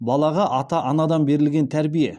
балаға ата анадан берілген тәрбие